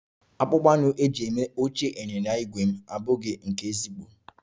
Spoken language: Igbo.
Akpụkpọ anụ eji eme oche ịnyịnya ígwè m abụghị nke ezigbo